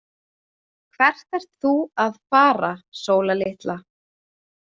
Hvert ert þú að fara Sóla litla?